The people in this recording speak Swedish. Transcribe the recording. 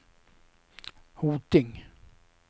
Hoting